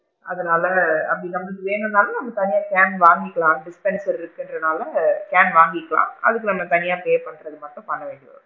அதனால அப்படி நமக்கு வேணும்னாலும் நம்ம தனியா கான் வாங்கிக்கலாம் dish connection இருகுதுன்றனால கான் வாங்கிக்கலாம் அதுக்கு நாம தனியா pay பண்றது மட்டும் பண்ணிடனும்.